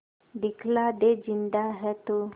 दिखला दे जिंदा है तू